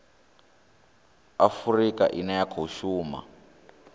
afurika ine ya khou shuma